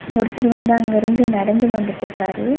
ஒருத்தர் வந்து அங்கிருந்து நடந்து வந்துட்க்காரு.